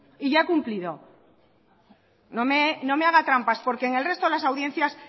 y ya he cumplido no me haga trampas porque en el resto de las audiencias